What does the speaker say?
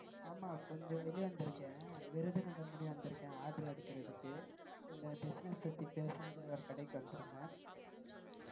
விருதுநகர் முடிய வந்திருக்கேன் order எடுக்கிறதுக்கு கொஞ்சம் business பத்தி பேசணும்னு ஒரு கடைக்கு வந்திருந்தேன்.